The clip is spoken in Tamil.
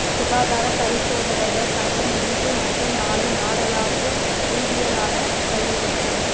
சுகாதார பரிசோதகர்கள் சங்கம் இன்று மற்றும் நாளை நாடளாவிய ரீதியிலான வேலை நிறுத்தம்